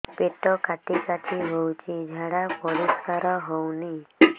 ପେଟ କାଟି କାଟି ହଉଚି ଝାଡା ପରିସ୍କାର ହଉନି